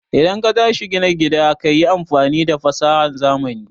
idan katashi gina gida kayi amfani da fasahan zamani